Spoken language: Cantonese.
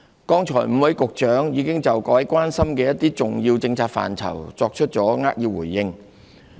剛才5位局長已就各位關心的一些重要政策範疇作出扼要回應。